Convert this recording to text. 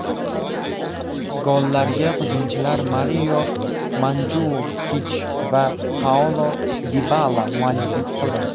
Gollarga hujumchilar Mario Manjukich va Paulo Dibala mualliflik qildi.